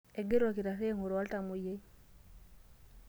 Engira olkitarri ainguraa oltamwoyiai.